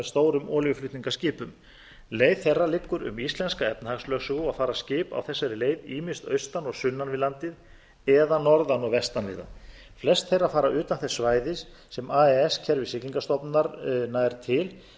stórum olíuflutningaskipum leið þeirra liggur um íslensku efnahagslögsöguna og fara skip á þessari leið ýmist austan og sunnan við landið eða norðan og vestan við það flest þeirra fara utan þess svæðis sem ais kerfi siglingastofnunar nær til